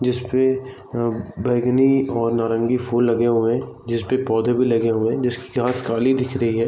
जिसपे बैगनी और नौरंगी फूल लगे हुए है जिसपे पौधे भी लगे हुए है जिसकी घास काली दिख रही है ।